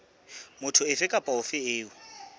motho ofe kapa ofe eo